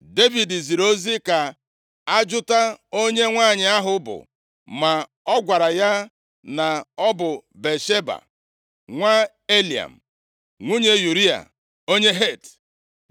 Devid ziri ozi ka a jụta onye nwanyị ahụ bụ, ma a gwara ya na ọ bụ Batsheba, nwa Eliam, nwunye Ụraya onye Het.